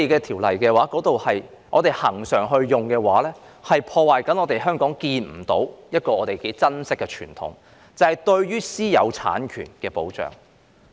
恆常引用《收回土地條例》的話，會破壞一個我們珍惜但看不見的香港傳統，就是對私有產權的保障。